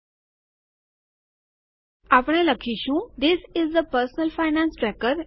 હવે આપણે લખીશું this is a personal finance tracker